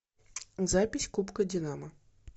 запись кубка динамо